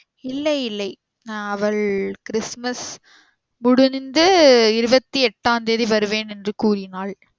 இல்லை இல்லை நா அவள் Christmas முடிந்து இருவத்தி எட்டாந் தேதி வருவேன் என்று கூறினாள்